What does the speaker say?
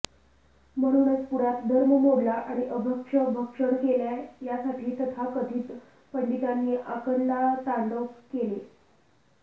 म्हणूनच पुण्यात धर्म मोडला आणि अभक्ष्य भक्षण केले यासाठी तथाकथित पंडितांनी आकांडतांडव केले